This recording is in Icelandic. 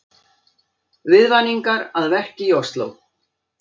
Viðvaningar að verki í Ósló